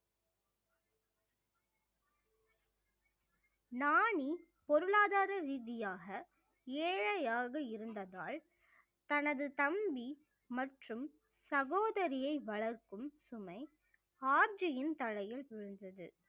நானி பொருளாதார ரீதியாக ஏழையாக இருந்ததால் தனது தம்பி மற்றும் சகோதரியை வளர்க்கும் சுமை ஆப்ஜியின் தலையில் விழுந்தது